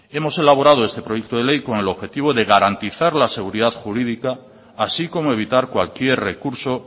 hemos elaborado este proyecto de ley con el objetivo de garantizar la seguridad jurídica así como evitar cualquier recurso